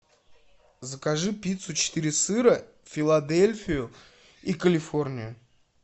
закажи пиццу четыре сыра филадельфию и калифорнию